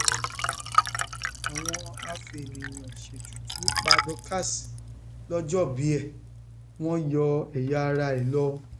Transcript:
àwọn afẹèyànṣètùtù pa dorcas lọjọòbí ẹ wọn yọ ẹyàara ẹ lọ